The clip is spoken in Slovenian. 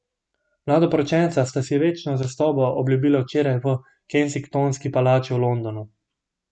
Mladoporočenca sta si večno zvestobo obljubila včeraj v Kensingtonski palači v Londonu.